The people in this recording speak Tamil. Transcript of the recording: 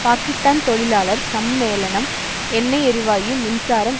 பாகிஸ்தான் தொழிலாளர் சம்மேளனம் எண்ணெய் எரிவாயு மின்சாரம்